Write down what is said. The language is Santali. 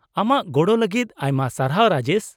-ᱟᱢᱟᱜ ᱜᱚᱲᱚ ᱞᱟᱹᱜᱤᱫ ᱟᱭᱢᱟ ᱥᱟᱨᱟᱦᱣ, ᱨᱟᱡᱮᱥ ᱾